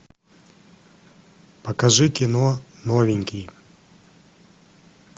покажи кино новенький